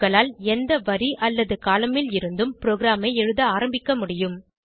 உங்களால் எந்த வரி அல்லது கோலம்ன் ல் இருந்தும் ப்ரோகிராமை எழுத ஆரம்பிக்க முடியும்